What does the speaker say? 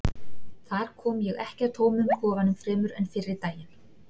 Þar kom ég ekki að tómum kofanum fremur en fyrri daginn.